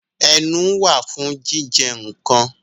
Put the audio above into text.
Ẹnu wà fún jíjẹ nǹkan